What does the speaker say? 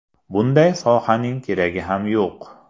Bunday sohaning keragi ham yo‘q.